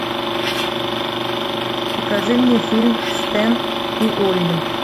покажи мне фильм стэн и олли